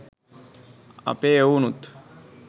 අපේ එවුනුත්